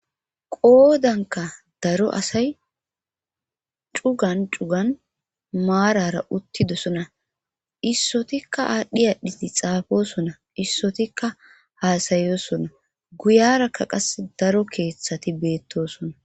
Qoodanka daro asay cugan cugan maarara uttidosona issotikka aadhdhi adhii xaafoosona issotikka haasayosona guyarakka qase daro keeththati beettosona.